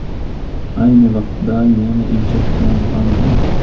Ayni vaqtda yana ijod bilan bandman.